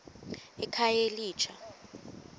ekhayelitsha